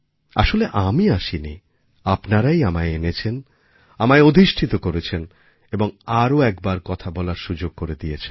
আসলে আমিআসিনি আপনারাই আমায় এনেছেন আমায় অধিষ্ঠিত করেছেন এবং আর একবার কথা বলার সুযোগ করেদিয়েছেন